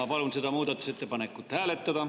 Ma palun seda muudatusettepanekut hääletada.